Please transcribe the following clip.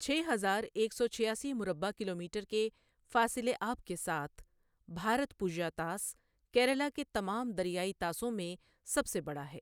چھ ہزار ایک سو چھیاسی مربع کلومیٹر کے فاصل آب کے ساتھ، بھارتپوژا طاس کیرالہ کے تمام دریائی طاسوں میں سب سے بڑا ہے۔